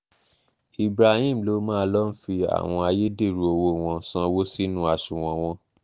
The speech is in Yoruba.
ibrahim ló máa ń lọọ́ fi àwọn ayédèrú owó wọn sanwó sínú àsùnwọ̀n wọn